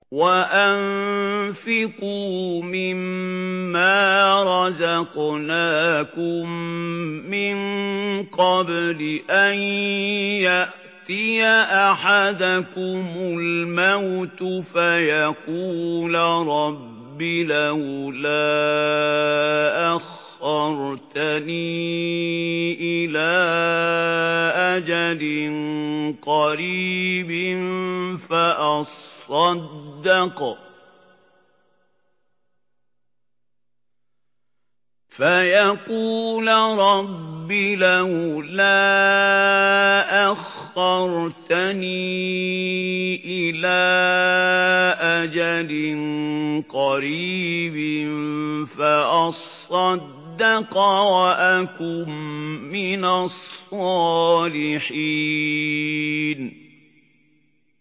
وَأَنفِقُوا مِن مَّا رَزَقْنَاكُم مِّن قَبْلِ أَن يَأْتِيَ أَحَدَكُمُ الْمَوْتُ فَيَقُولَ رَبِّ لَوْلَا أَخَّرْتَنِي إِلَىٰ أَجَلٍ قَرِيبٍ فَأَصَّدَّقَ وَأَكُن مِّنَ الصَّالِحِينَ